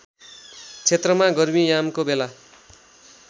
क्षेत्रमा गर्मीयामको बेला